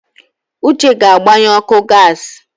Uche ga-agbanye ọkụ gas.